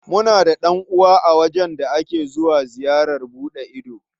Muna da ɗan'uwa a wajen da ake zuwa ziyarar buɗe ido.